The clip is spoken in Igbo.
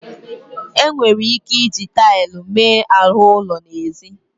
E nwere ike iji taịlụ mee ahụ ụlọ n'ezi.